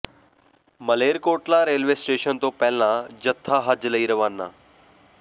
Malerkotla railway station ਤੋਂ ਪਹਿਲਾ ਜੱਥਾ ਹੱਜ ਲਈ ਰਵਾਨਾ